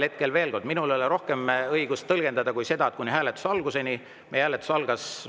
Hetkel, veel kord, minul ei ole rohkem õigust tõlgendada kui seda, et kuni hääletuse alguseni.